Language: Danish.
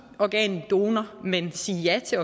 organdonor men sige ja til